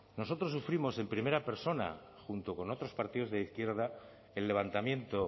nosotros sufrimos en primera persona junto con otros partidos de izquierda el levantamiento